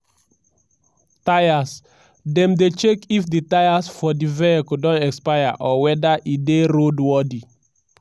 tyres:dem dey check if di tyres for di vehicle don expire or weda e dey road worthy.